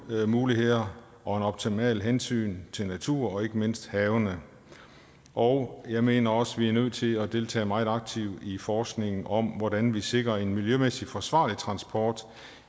levemuligheder og et optimalt hensyn til natur og ikke mindst havene og jeg mener også at vi er nødt til at deltage meget aktivt i forskningen om hvordan vi sikrer en miljømæssig forsvarlig transport